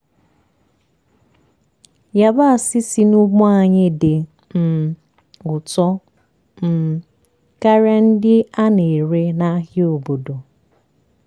yabasị si n'ugbo anyị dị um ụtọ um karịa ndị a na-ere n'ahịa obodo.